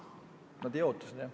Nad ei oota seda, jah.